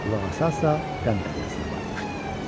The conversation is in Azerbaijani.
Qulağa assa, qam dəryasına batmışdı.